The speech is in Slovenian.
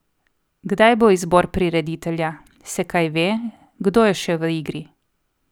Kdaj bo izbor prireditelja, se kaj ve, kdo je še v igri?